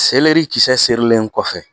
Seleri kisɛ serilen kɔfɛ